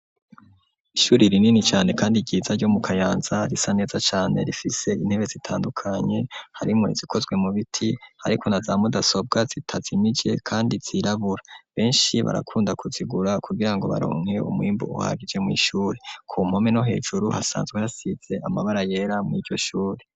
Ishuri rinini cane kandi ryiza ryo mu kayanza risa neza cane rifise intebe zitandukanye harimwo izikozwe mu biti ariko naza mudasobwa zitazimije kandi zirabura beshi barakunda ku zigura kugirango baronke umwimbu uhagije mw'ishuri ku mpome no hejuru hasanzwe hasize amabara yera mwiryo shuri.